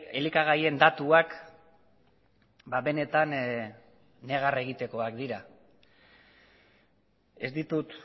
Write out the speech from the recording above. elikagaien datuak benetan negar egitekoak dira ez ditut